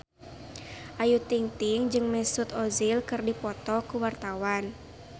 Ayu Ting-ting jeung Mesut Ozil keur dipoto ku wartawan